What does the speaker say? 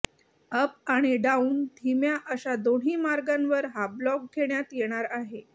up आणि down धीम्या अशा दोन्ही मार्गांवर हा ब्लॉक घेण्यात येणार आहे